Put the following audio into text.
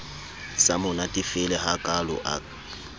sa mo natefele hakalo a